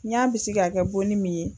N y'a bisigi k'a kɛ bonni min ye